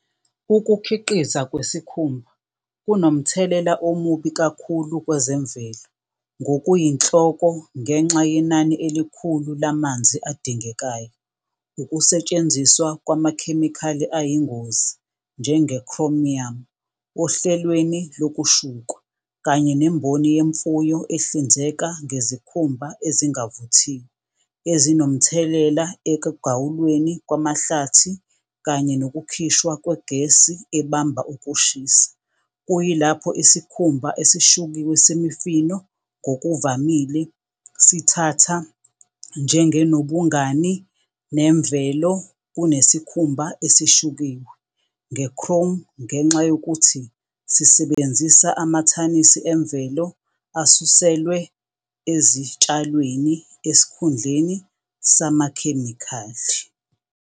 Ukukhiqiza kwesikhumba kunomthelela omubi kakhulu kwezemvelo ngokuyinhloko ngenxa yenani elikhulu lamanzi adingekayo, ukusetshenziswa kwamakhemikhali ayingozi njenge-chromium ohlelweni lokushukwa, kanye nemboni yemfuyo ehlinzeka ngezikhumba ezingavuthiwe ezinomthelela ekugawulweni kwamahlathi, kanye nokukhishwa kwegesi ebamba ukushisa. Kuyilapho isikhumba esishukiwe semifino ngokuvamile sithatha njengenobungani nemvelo kunesikhumba esishukiwe nge-chrome ngenxa yokuthi sisebenzisa amathanisi emvelo asuselwe ezitshalweni, esikhundleni samakhemikhali.